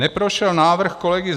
Neprošel návrh kolegy